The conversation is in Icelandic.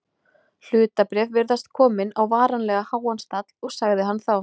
Hlutabréf virðast komin á varanlega háan stall sagði hann þá.